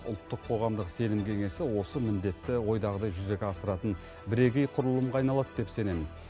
ұлттық қоғамдық сенім кеңесі осы міндетті ойдағыдай жүзеге асыратын бірегей құрылымға айналады деп сенемін